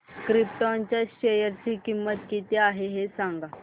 krypton च्या share ची किंमत किती आहे हे सांगा